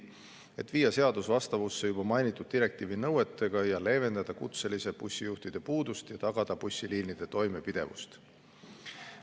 Eesmärk on viia seadus vastavusse juba mainitud direktiivi nõuetega ja leevendada kutseliste bussijuhtide puudust ning tagada bussiliinide toimepidevus.